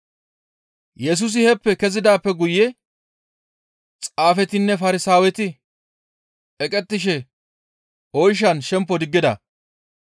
Yesusi heeppe kezidaappe guye Xaafetinne Farsaaweti eqettishe oyshan shempo diggida.